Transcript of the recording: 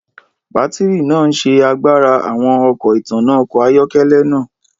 Bátìrì naa n ṣe agbara awọn ọna itanna ọkọ ayọkẹlẹ naa